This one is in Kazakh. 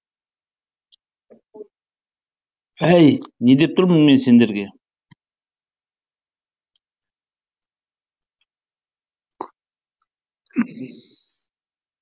әй не деп тұрмын сендерге